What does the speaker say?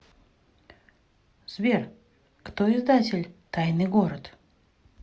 сбер кто издатель тайный город